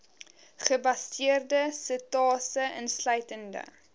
gebaseerde setasese insluitende